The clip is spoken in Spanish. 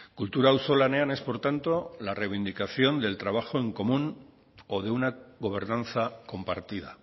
kultura auzolanean es por tanto la reivindicación del trabajo en común o de una gobernanza compartida